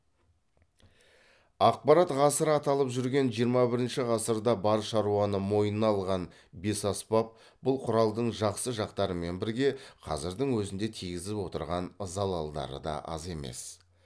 ақпарат ғасыры аталып жүрген жиырма бірінші ғасырда бар шаруаны мойнына алған бесаспап бұл құралдың жақсы жақтарымен бірге қазірдің өзінде тигізіп отырған залалдары да аз емес